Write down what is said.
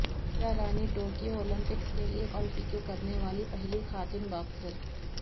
پوجا Rani Tokyo Olympics کیلئے qualify کرنے والی پہلی خاتون باکسر